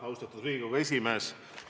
Austatud Riigikogu esimees!